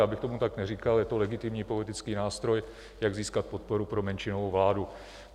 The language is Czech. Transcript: Já bych tomu tak neříkal, je to legitimní politický nástroj, jak získat podporu pro menšinovou vládu.